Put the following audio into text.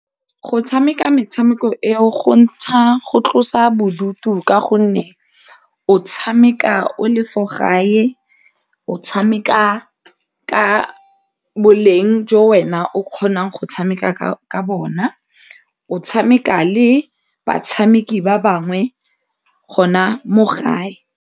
Go tshameka metshameko eo go ntsha go tlosa bodutu ka gonne o tshameka o le fo gae o tshameka ka boleng jo wena o kgonang go tshameka ka bona o tshameka le batshameki ba bangwe gona mo gae.